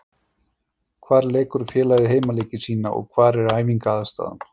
Hvar leikur félagið heimaleiki sína og hvar er æfingaaðstaða?